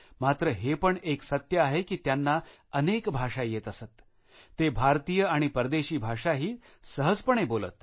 मात्र हे पण एक सत्य आहे की त्यांना अनेक भाषा येत असत ते भारतीय आणि परदेशी भाषाही सहजपणे बोलत